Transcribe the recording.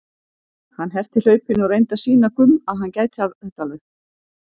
Hann herti hlaupin og reyndi að sýna Gumm að hann gæti þetta alveg.